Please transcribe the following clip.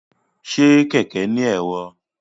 Ṣe kẹkẹ ni ẹ̀rọ?